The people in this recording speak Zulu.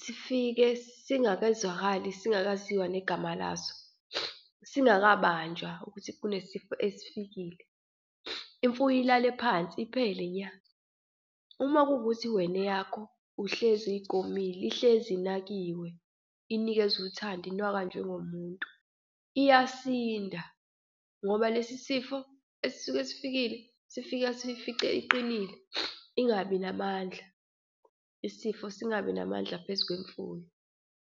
sifike singazwakali, singaziwa negama laso, singakabanjwa ukuthi kunesifo esifikile, imfuyo ilale phansi iphele nya. Uma kuwukuthi wena eyakho uhlezi uyigomile, ihlezi inakiwe, inikezwa uthando, inakwa njengomuntu, iyasinda ngoba lesi sifo esisuke sifikile sifika siyifice iqinile ingabi namandla, isifo singabi namandla phezu kwemfuyo.